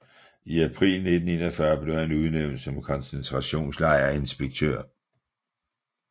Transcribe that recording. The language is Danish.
I april 1941 blev han udnævnt som koncentrationslejrinspektør